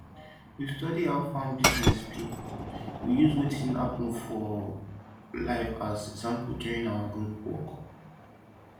we study how farm business be we use watin dey happen for life as example during our group work